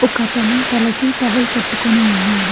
ఒకతను తలకి టవల్ కట్టుకొని ఉన్నాడు.